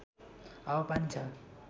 हावापानी छ